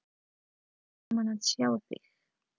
Gaman að sjá þig.